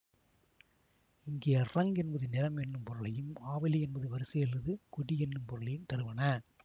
இங்கே ரங் என்பது நிறம் என்னும் பொருளையும் ஆவலி என்பது வரிசை அல்லது கொடி என்னும் பொருளையும் தருவன